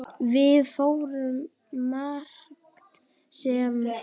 Við fórum margt saman.